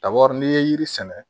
Kaburu n'i ye yiri sɛnɛ